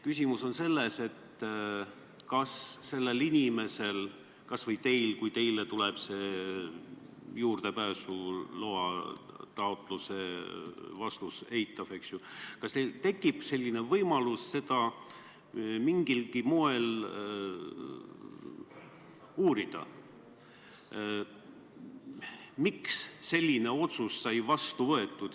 Küsimus on selles, kas sellel inimesel – kas või teil, kui teile tuleb juurdepääsuloa taotlusele eitav vastus – tekib võimalus mingilgi moel uurida, miks sai selline otsus vastu võetud.